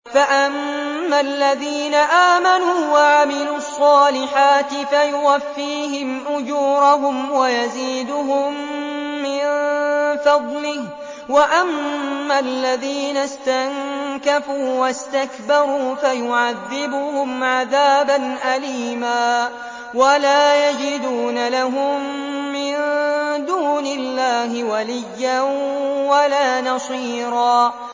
فَأَمَّا الَّذِينَ آمَنُوا وَعَمِلُوا الصَّالِحَاتِ فَيُوَفِّيهِمْ أُجُورَهُمْ وَيَزِيدُهُم مِّن فَضْلِهِ ۖ وَأَمَّا الَّذِينَ اسْتَنكَفُوا وَاسْتَكْبَرُوا فَيُعَذِّبُهُمْ عَذَابًا أَلِيمًا وَلَا يَجِدُونَ لَهُم مِّن دُونِ اللَّهِ وَلِيًّا وَلَا نَصِيرًا